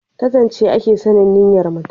ta zance a ke sanin niyyar mutum